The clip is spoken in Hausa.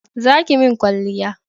Za ki mun kwalliya